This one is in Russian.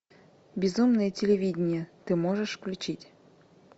безумное телевидение ты можешь включить